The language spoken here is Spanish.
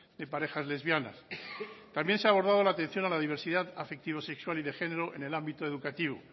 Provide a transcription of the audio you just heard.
de parejas lesbianas también se ha abordado la atención a la diversidad afectivo sexual y de género en el ámbito educativo